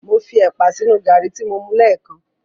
Mo fi ẹ̀pà sínu gàrí tí mo mu lẹ́ẹ̀kan.